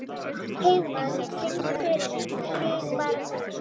Heiðmann, syngdu fyrir mig „Þig bara þig“.